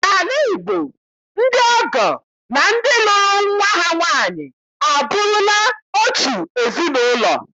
N'ala Igbo, ndị ọgọ na ndị lụrụ nwa ha nwaanyị abụrụla otu ezinụlọ